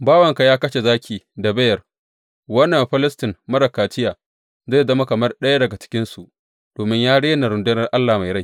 Bawanka ya kashe zaki da beyar, wannan Bafilistin marar kaciya zai zama kamar ɗaya daga cikinsu, domin ya rena rundunar Allah mai rai.